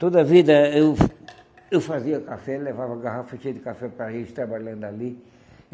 Toda vida eu eu fazia café, levava garrafa cheia de café para eles trabalhando ali.